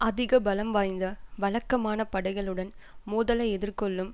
அதிக பலம் வாய்ந்த வழக்கமான படைகளுடன் மோதலை எதிர்கொள்ளும்